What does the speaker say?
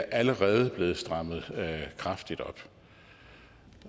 allerede er blevet strammet kraftigt op